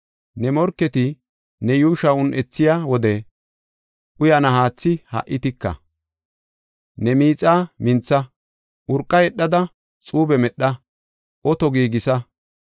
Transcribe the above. Ne morketi ne yuushuwa un7ethiya wode uyana haatha ha77i tika. Ne miixa mintha; urqa yedhada xuube medha; oto giigisa.